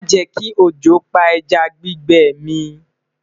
má jè kí ọjọ pá ẹja gbígbẹ mi